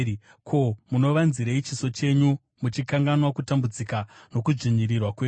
Ko, munovanzirei chiso chenyu muchikanganwa kutambudzika nokudzvinyirirwa kwedu?